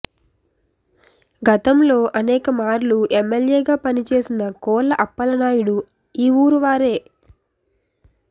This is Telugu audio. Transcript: గతంలో అనేక మార్లు ఎమెల్యేగా పనిచేసిన కోళ్ళ అప్పలనాయుడు ఈ ఊరు వారే